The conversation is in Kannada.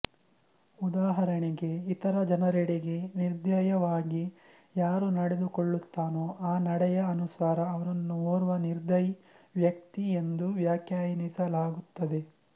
ಉದಾಹರಣೆಗೆ ಇತರ ಜನರೆಡೆಗೆ ನಿರ್ದಯವಾಗಿ ಯಾರು ನಡೆದುಕೊಳ್ಳುತ್ತಾನೋ ಆ ನಡೆಯ ಅನುಸಾರ ಅವನನ್ನು ಓರ್ವ ನಿರ್ದಯಿ ವ್ಯಕ್ತಿ ಎಂದು ವ್ಯಾಖ್ಯಾನಿಸಲಾಗುತ್ತದೆ